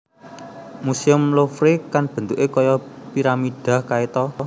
Musuem Louvre kan bentuke koyo piramida kae to?